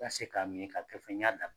se k'a min ka kɛ fɔ n y'a da